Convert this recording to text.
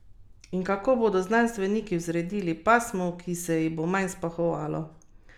In kako bodo znanstveniki vzredili pasmo, ki se ji bo manj spahovalo?